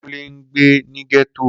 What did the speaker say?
Kunle ngbe ni getto.